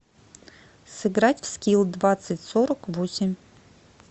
сыграть в скилл двадцать сорок восемь